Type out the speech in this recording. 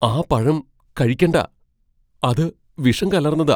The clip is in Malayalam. ആ പഴം കഴിക്കണ്ടാ. അത് വിഷം കലർന്നതാ .